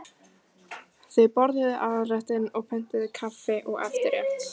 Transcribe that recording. Þau borðuðu aðalréttinn og pöntuðu kaffi og eftirrétt.